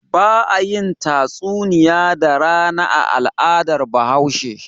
Ba a yin tatsuniya da rana a al'adar Bahaushe.